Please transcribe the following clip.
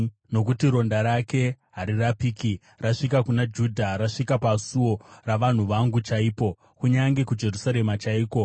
Nokuti ronda rake harirapiki; rasvika kuna Judha. Rasvika pasuo ravanhu vangu chaipo, kunyange kuJerusarema chaiko.